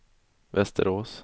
Västerås